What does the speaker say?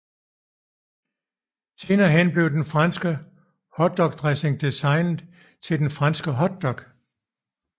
Senere hen blev den franske hotdogdressing designet til den franske hotdog